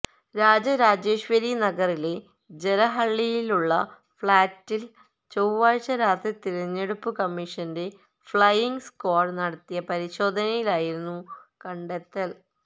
രാജരാജേശ്വരി നഗറിലെ ജലഹളളിയിലുള്ള ഫ്ളാറ്റില് ചൊവ്വാഴ്ച രാത്രി തിരഞ്ഞെടുപ്പ് കമ്മിഷന്റെ ഫ്ളൈയിങ് സ്ക്വാഡ് നടത്തിയ പരിശോധനയിലായിരുന്നു കണ്ടെത്തല്